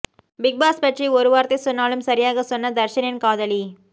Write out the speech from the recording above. big Boss பற்றி ஒரு வார்த்தை சொன்னாலும் சரியாக சொன்ன தர்ஷனின் காதலி